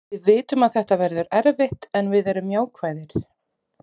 Við vitum að þetta verður erfitt en við erum jákvæðir.